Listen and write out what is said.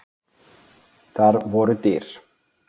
Þar voru dyr.